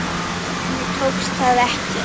Henni tókst það ekki.